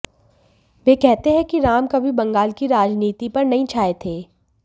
वे कहते हैं कि राम कभी बंगाल की राजनीति पर नहीं छाए थे